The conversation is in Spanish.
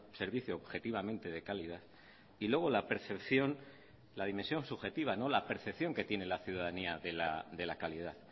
servicio objetivamente de calidad y luego la percepción la dimensión subjetiva la percepción que tiene la ciudadanía de la calidad